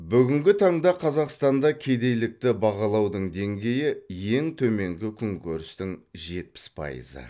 бүгінгі таңда қазақстанда кедейлікті бағалаудың деңгейі ең төменгі күнкөрістің жепіс пайызы